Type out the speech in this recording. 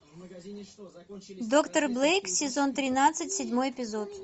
доктор блейк сезон тринадцать седьмой эпизод